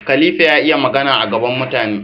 khAlifa ya iya Magana a gaban mutane